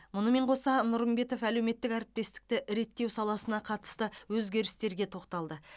мұнымен қоса нұрымбетов әлеуметтік әріптестікті реттеу саласына қатысты өзгерістерге тоқталды